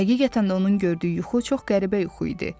Həqiqətən də onun gördüyü yuxu çox qəribə yuxu idi.